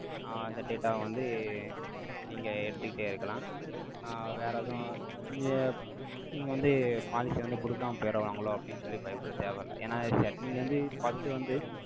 ஆஹ் இந்த data வ வந்து, நீங்க, எடுத்துக்கிட்டே இருக்கலாம். ஆ, வேற எதுவும், இங்க, நீங்க வந்து, policy ய வந்து, குடுக்காம போயிடுவாங்களோ? அப்படின்னு சொல்லி, பயப்பட தேவையில்ல. ஏன்னா, நீங்க வந்து, first வந்து,